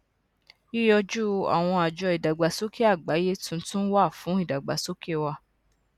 yiyoju àwọn àjọ ìdàgbàsókè àgbáyé tuntun wa fún ìdàgbàsókè wà